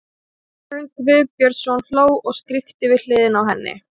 Þórarinn Guðbjörnsson hló og skríkti við hliðina á henni.